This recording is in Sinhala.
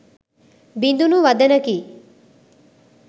බිඳුනු වදනකි.